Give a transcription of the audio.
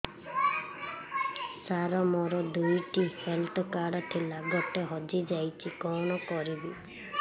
ସାର ମୋର ଦୁଇ ଟି ହେଲ୍ଥ କାର୍ଡ ଥିଲା ଗୋଟେ ହଜିଯାଇଛି କଣ କରିବି